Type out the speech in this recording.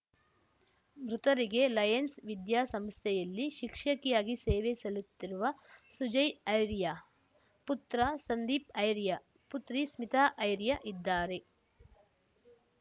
ಮೃತರಿಗೆ ಲಯನ್ಸ್ ವಿದ್ಯಾ ಸಂಸ್ಥೆಯಲ್ಲಿ ಶಿಕ್ಷಕಿಯಾಗಿ ಸೇವೆ ಸಲ್ಲಿಸುತ್ತಿರುವ ಸುಜಯ್ ಐರ್ಯ್ಯ ಪುತ್ರ ಸಂದೀಪ್‌ ಐರ್ಯ್ ಪುತ್ರಿ ಸ್ಮಿತಾ ಐರ್ಯ್ಯ ಇದ್ದಾರೆ